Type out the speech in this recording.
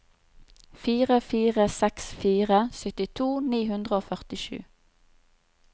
fire fire seks fire syttito ni hundre og førtisju